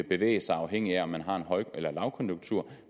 bevæge sig afhængigt af om man har en høj eller lavkonjunktur